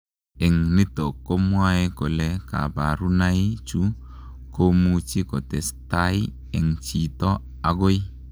Eng nitok komwae kolee kaparunai chuu komuchii kotestai eng chito agoi